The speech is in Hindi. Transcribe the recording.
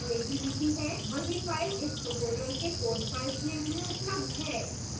वही file इस tutorial के code files link में उपलब्ध है